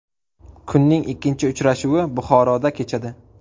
Kunning ikkinchi uchrashuvi Buxoroda kechadi.